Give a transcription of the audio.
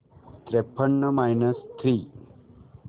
त्रेपन्न minus three